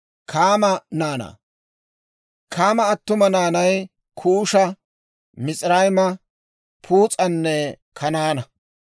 Kaama attuma naanay: Kuusha, Mis'irayma, Puus'anne Kanaana.